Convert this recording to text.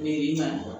i nana